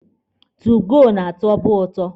2goo na-atọbụ ụtọ.